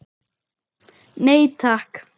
Nei, takk.